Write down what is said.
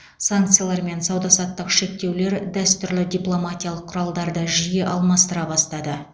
санкциялар мен сауда саттық шектеулер дәстүрлі дипломатиялық құралдарды жиі алмастыра бастады